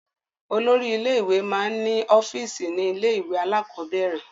Olórí ilé-ìwé máa ń ọ́fíísì ní ilé-ìwé alákọ̀ọ́bẹ̀rẹ̀.